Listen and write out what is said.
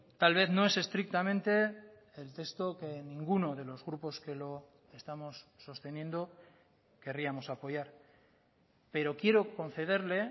tal vez no es estrictamente el texto que ninguno de los grupos que lo estamos sosteniendo querríamos apoyar pero quiero concederle